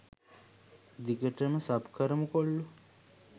දිගටම සබ් කරමු කොල්ලෝ